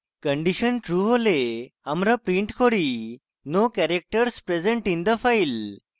condition true হলে আমরা print করি no characters present in the file